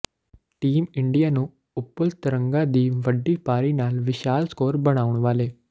team India ਨੂੰ ਉਪੁਲ ਤਰੰਗਾ ਦੀ ਵੱਡੀ ਪਾਰੀ ਨਾਲ ਵਿਸ਼ਾਲ ਸਕੋਰ ਬਣਾਉਣ ਵਾਲੇ